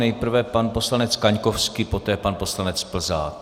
Nejprve pan poslanec Kaňkovský, poté pan poslanec Plzák.